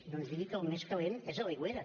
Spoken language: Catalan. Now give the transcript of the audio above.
no ens digui que el més calent és a l’aigüera